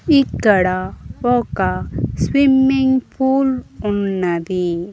ఇక్కడ ఒక swimming pool ఉన్నది.